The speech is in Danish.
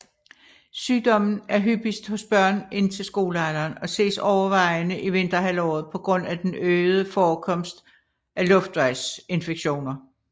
Sygdommen er hyppigst hos børn indtil skolealderen og ses overvejende i vinterhalvåret på grund af den øgede forekomst af luftvejsinfektioner